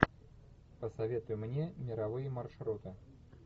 посоветуй мне мировые маршруты